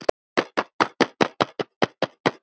Já, voða erfitt.